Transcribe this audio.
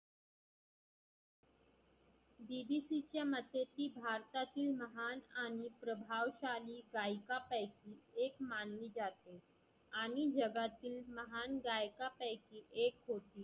BBC च्या मध्ये ती भारतातील महान आणि प्रभाव शाली गायिका पैकी एक मान ली जाते आणि जगातील महान गायका पैकी एक होती